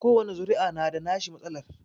Kowani zuri'a na da nashi matsalar